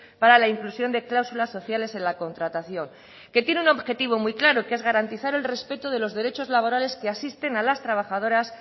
para la inclusión de cláusulas sociales en la contratación que tiene un objetivo muy claro que es garantizar el respeto de los derechos laborales que asisten a las trabajadoras